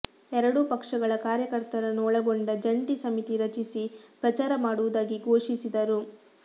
ಎರಡೂ ಪಕ್ಷಗಳ ಕಾರ್ಯಕರ್ತರನ್ನು ಒಳಗೊಂಡ ಜಂಟಿ ಸಮಿತಿ ರಚಿಸಿ ಪ್ರಚಾರ ಮಾಡುವುದಾಗಿ ಘೋಷಿಸಿದರು